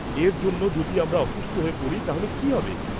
এর জন্য যদি আমরা অসুস্থ হয়ে পড়ি তাহলে কি হবে?